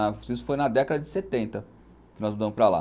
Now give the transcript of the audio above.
Isso foi na década de setenta que nós mudamos para lá.